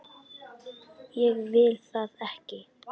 Ég vil það ekki.